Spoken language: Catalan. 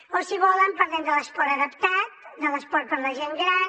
o si volen parlem de l’esport adaptat de l’esport per a la gent gran